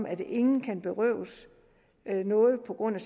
at ingen kan berøves noget på grund af